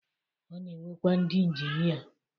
O na-enwekwa ndi injinia